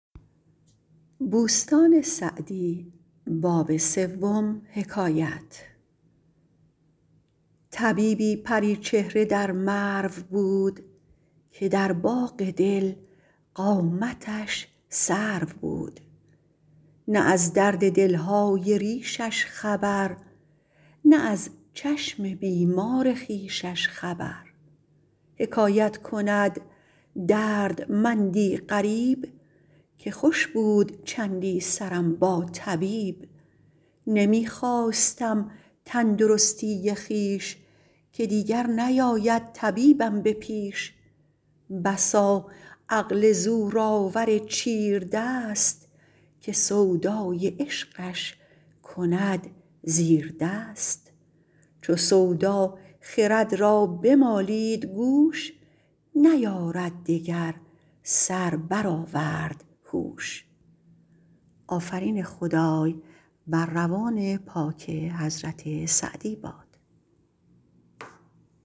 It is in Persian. طبیبی پری چهره در مرو بود که در باغ دل قامتش سرو بود نه از درد دل های ریشش خبر نه از چشم بیمار خویشش خبر حکایت کند دردمندی غریب که خوش بود چندی سرم با طبیب نمی خواستم تندرستی خویش که دیگر نیاید طبیبم به پیش بسا عقل زورآور چیردست که سودای عشقش کند زیردست چو سودا خرد را بمالید گوش نیارد دگر سر برآورد هوش